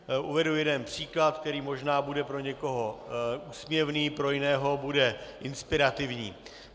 Uvedu jeden příklad, který možná bude pro někoho úsměvný, pro jiného bude inspirativní.